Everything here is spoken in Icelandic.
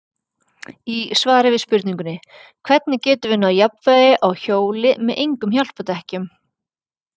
Í svari við spurningunni Hvernig getum við náð jafnvægi á hjóli með engum hjálpardekkjum?